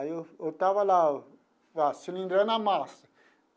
Aí eu eu estava lá, cilindrando a massa.